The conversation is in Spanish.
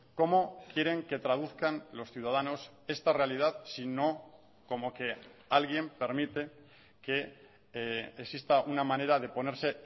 cómo quieren que traduzcan los ciudadanos esta realidad sino como que alguien permite que exista una manera de ponerse